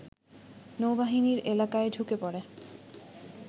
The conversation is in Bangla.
নৌবাহিনীর এলাকায় ঢুকে পড়ে